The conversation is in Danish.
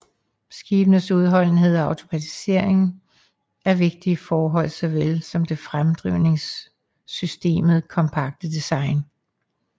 Skibes udholdenhed og automatisering er vigtige forhold såvel som det fremdrivningssystemet kompakte design